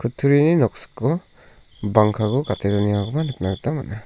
kutturini noksiko bangkako gate donengakoba nikna gita man·a.